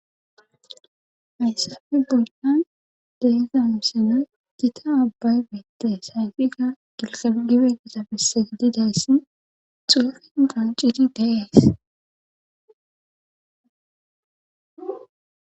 hayssafi bollan deiza mseno gita abbaybeette sayfiga gilqagibe gatabisse gididayssin xuufin qanciri dees